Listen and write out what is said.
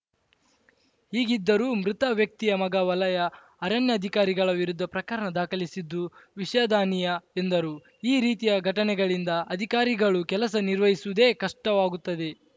ಹೀಗಿದ್ದರೂ ಮೃತ ವ್ಯಕ್ತಿಯ ಮಗ ವಲಯ ಅರಣ್ಯಾಧಿಕಾರಿಗಳ ವಿರುದ್ಧ ಪ್ರಕರಣ ದಾಖಲಿಸಿದ್ದು ವಿಷಾದನೀಯ ಎಂದರು ಈ ರೀತಿಯ ಘಟನೆಗಳಿಂದ ಅಧಿಕಾರಿಗಳು ಕೆಲಸ ನಿರ್ವಹಿಸುವುದೇ ಕಷ್ಟವಾಗುತ್ತದೆ